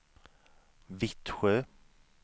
Vittsjö